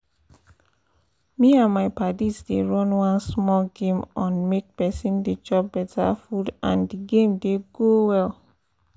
me and my padis dey run one small game on make person dey chop better food and d game dey go well